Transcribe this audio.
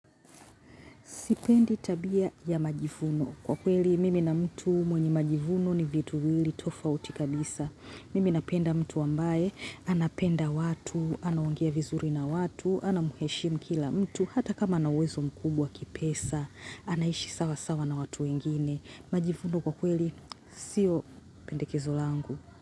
Sipendi tabia ya majivuno. Kwa kweli, mimi na mtu mwenye majivuno ni vitu viwili tofauti kabisa. Mimi napenda mtu ambaye, anapenda watu, anaongea vizuri na watu, anamheshimu kila mtu, hata kama ana uwezo mkubwa kipesa, anaishi sawa sawa na watu wengine. Majivuno kwa kweli, sio pendekezo langu.